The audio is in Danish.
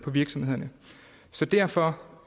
virksomhederne så derfor